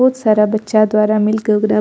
बहुत सारा बच्चा द्वारा मिलके ओकरा --